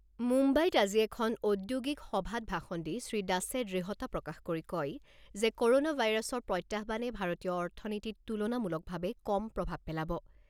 মুম্বাইত আজি এখন ঔদ্যোগিক সভাত ভাষণ দি শ্ৰীদাসে দৃঢ়তা প্ৰকাশ কৰি কয় যে ক'ৰনা ভাইৰাছৰ প্ৰত্যাহ্বানে ভাৰতীয় অৰ্থনীতিত তুলনামূলকভাৱে কম প্ৰভাৱ পেলাব।